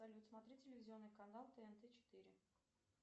салют смотреть телевизионный канал тнт четыре